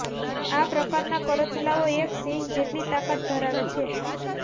આ પ્રકારના કરચલાઓ એક સિંહ જેટલી તાકાત ધરાવે છે